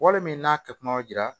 Wale min n'a kɛ kuma jira